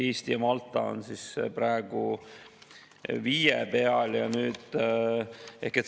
Eesti ja Malta on praegu 5% peal.